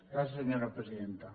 gràcies senyora presidenta